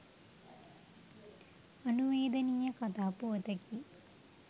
අනුවේදනීය කතා පුවතකි.